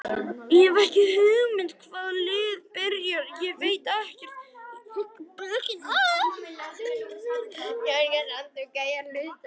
Ég hef ekki hugmynd hvaða lið byrjar, ég veit ekkert í augnablikinu.